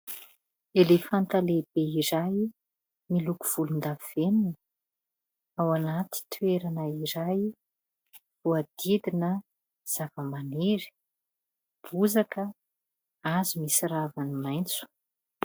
Elefanta lehibe izay miloko volondavenona. Ao anaty toerana izay voahodidina zava-maniry : bozaka hazo misy raviny maitso.